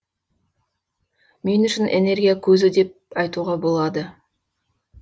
мен үшін энергия көзі деп айтуға болады